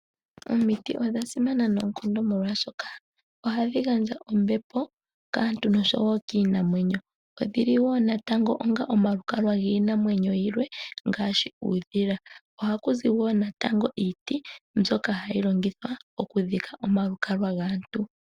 Omiti odha simana noonkondo oshoka ohadhi gandja ombepo kaantu nokiinamwenyo. Odhili wo omalukalwa giinamwenyo yimwe ngaashi uudhila. Oha kuzi iiti mbyono hayi longithwa oku dhika omalukalwa gaantu.